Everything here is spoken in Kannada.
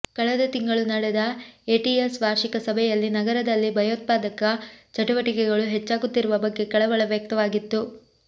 ಕಳೆದ ತಿಂಗಳು ನಡೆದ ಎಟಿಎಸ್ ವಾರ್ಷಿಕ ಸಭೆಯಲ್ಲಿ ನಗರದಲ್ಲಿ ಭಯೋತ್ಪಾದಕ ಚಟುವಟಿಕೆಗಳು ಹೆಚ್ಚಾಗುತ್ತಿರುವ ಬಗ್ಗೆ ಕಳವಳ ವ್ಯಕ್ತವಾಗಿತ್ತು